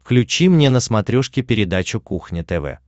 включи мне на смотрешке передачу кухня тв